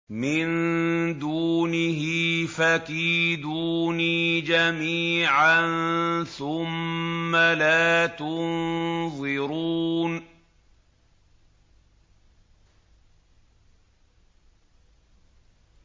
مِن دُونِهِ ۖ فَكِيدُونِي جَمِيعًا ثُمَّ لَا تُنظِرُونِ